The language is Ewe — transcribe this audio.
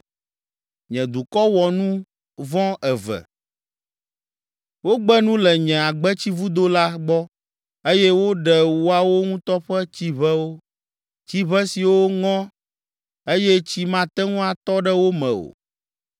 “Nye dukɔ wɔ nu vɔ̃ eve. Wogbe nu le nye agbetsivudo la gbɔ eye woɖe woawo ŋutɔ ƒe tsiʋewo, tsiʋe siwo ŋɔ eye tsi mate ŋu atɔ ɖe wo me o.